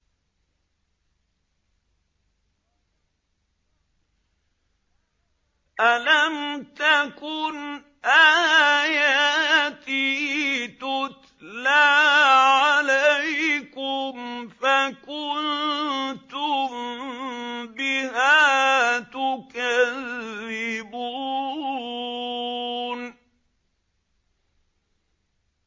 أَلَمْ تَكُنْ آيَاتِي تُتْلَىٰ عَلَيْكُمْ فَكُنتُم بِهَا تُكَذِّبُونَ